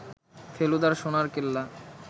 ফেলুদার সোনার কেল্লা